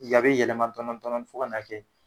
Yen a bi yɛlɛma dɔɔnin dɔɔnin fo ka na kɛ